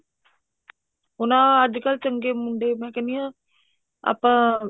ਹੁਣ ਆਹ ਅੱਜਕਲ ਚੰਗੇ ਮੁੰਡੇ ਮੈਂ ਕਹਿਣੀ ਹਾਂ ਆਪਾਂ